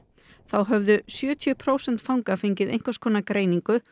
þá höfðu sjötíu prósent fanga fengið einhvers konar greiningu